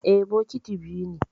Eh, bokiti biyu ne.